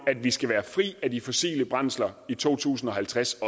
at vi skal være fri af de fossile brændsler i to tusind og halvtreds